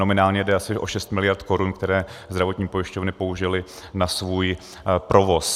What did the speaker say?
Nominálně jde asi o 6 mld. korun, které zdravotní pojišťovny použily na svůj provoz.